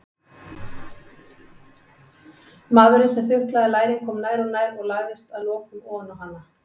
Maðurinn sem þuklaði lærin kom nær og nær og lagðist að lokum oná hana.